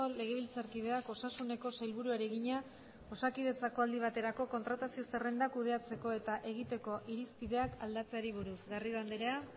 legebiltzarkideak osasuneko sailburuari egina osakidetzako aldi baterako kontratazio zerrendak kudeatzeko eta egiteko irizpideak aldatzeari buruz garrido andrea